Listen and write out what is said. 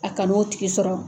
A kana n' o tigi sɔrɔ